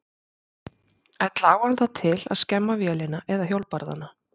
Ella á hann það til að skemma vélina eða hjólbarðana.